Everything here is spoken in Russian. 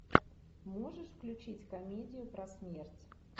можешь включить комедию про смерть